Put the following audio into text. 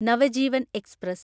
Navajeevan express